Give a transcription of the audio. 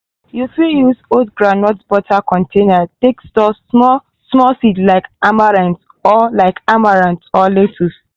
you fit use old groundnut butter container take store small-small seed like amaranth or like amaranth or lettuce.